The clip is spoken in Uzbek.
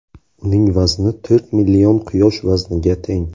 Uning vazni to‘rt million Quyosh vazniga teng.